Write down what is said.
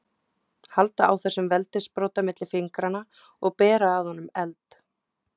Halda á þessum veldissprota milli fingranna og bera að honum eld.